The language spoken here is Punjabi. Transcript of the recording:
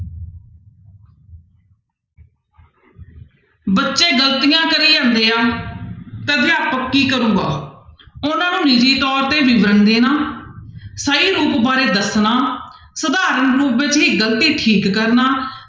ਬੱਚੇ ਗ਼ਲਤੀਆਂ ਕਰੀ ਜਾਂਦੇ ਆ ਤਾਂਂ ਅਧਿਆਪਕ ਕੀ ਕਰੇਗਾ ਉਹਨਾਂ ਨੂੰ ਨਿੱਜੀ ਤੌਰ ਤੇ ਵਿਵਰਣ ਦੇਣਾ ਸਹੀ ਰੂਪ ਬਾਰੇ ਦੱਸਣਾ, ਸਧਾਰਨ ਰੂਪ ਵਿੱਚ ਹੀ ਗ਼ਲਤੀ ਠੀਕ ਕਰਨਾ।